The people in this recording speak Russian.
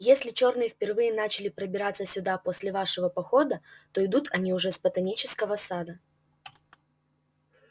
если чёрные впервые начали пробираться сюда после вашего похода то идут они уже с ботанического сада